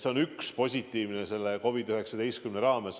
See on üks positiivne asi selle COVID-19 kriisi ajal.